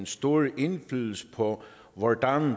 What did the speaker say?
stor indflydelse på hvordan